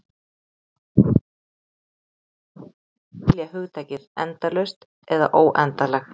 Það getur stundum verið erfitt að skilja hugtakið endalaust eða óendanlegt.